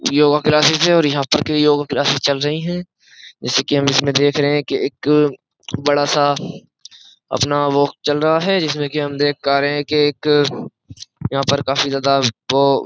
yoga classes है और यहाँ पर की योगा क्लासेस चल रही हैं जैसे कि हम इसमें देख रहे हैं कि एक बड़ा सा अपना वो चल रहा है जिसमें कि हम देख पा रहे हैं कि एक यहाँ पर काफी ज्यादा वो --